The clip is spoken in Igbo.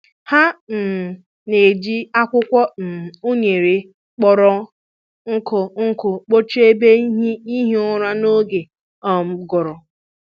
Ha um na-eji akwụkwọ um unere kpọrọ nkụ nkụ kpuchie ebe ihi ụra n'oge um ụgụrụ.